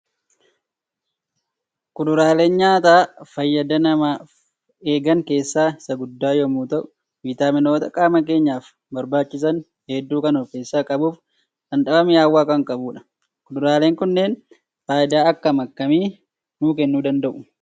Kuduraaleen nyaata fayyada nama eegan kessaa is gudda yommuu ta'u vaayitaamimoota qaama keenyaaf barbaachisan heddu kan of keessa qabuufi dhamdhama mi'aawaa kan qabudha. Kuduraalee kunneen faayida akkam akkami nu kennuu danda'u?